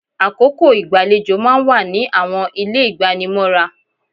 Àkókò igbalejo máa ń wà ní àwọn ilé igbanimọ́ra.